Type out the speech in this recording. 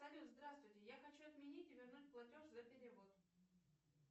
салют здравствуйте я хочу отменить и вернуть платеж за перевод